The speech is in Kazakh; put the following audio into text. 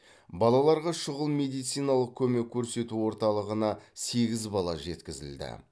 балаларға шұғыл медициналық көмек көрсету орталығына сегіз бала жеткізілді